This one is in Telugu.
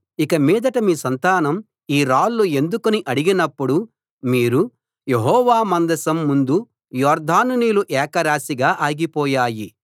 ఇక మీదట మీ సంతానం ఈ రాళ్ళు ఎందుకని అడిగినప్పుడు మీరు యెహోవా మందసం ముందు యొర్దాను నీళ్లు ఏకరాశిగా ఆగిపోయాయి